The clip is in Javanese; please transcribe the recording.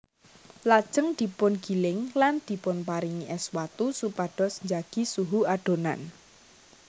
Lajeng dipungiling lan dipunparingi ès watu supados njagi suhu adonan